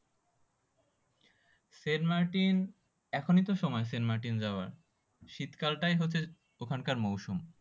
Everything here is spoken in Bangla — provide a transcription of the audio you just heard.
সেন্ট মার্টিন এখনই তো সময় সেন্ট মার্টিন যাওয়ার শীতকালটাই হচ্ছে ওইখান কার মৌসুম